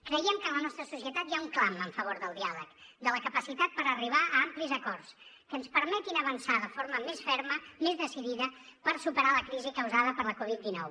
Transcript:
creiem que en la nostra societat hi ha un clam en favor del diàleg de la capacitat per arribar a amplis acords que ens permetin avançar de forma més ferma més decidida per superar la crisi causada per la covid dinou